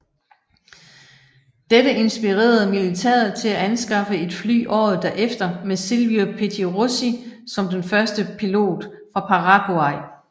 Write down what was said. Dette inspirerede militæret til at anskaffe et fly året derefter med Silvio Pettirossi som den første pilot fra Paraguay